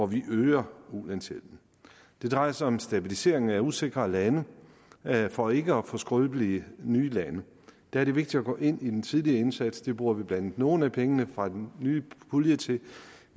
vi øger ulandshjælpen det drejer sig om stabiliseringen af usikre lande for ikke at få skrøbelige nye lande der er det vigtigt at gå ind i den tidlige indsats det bruger vi blandt andet nogle af pengene fra den nye pulje til